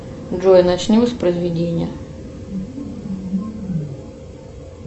джой начни воспроизведение